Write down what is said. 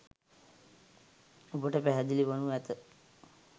ඔබට පැහැදිලි වනු ඇත